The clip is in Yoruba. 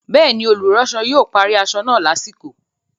Bẹ́ẹ̀ni, olùránsọ yóò parí aṣọ náà lásìkò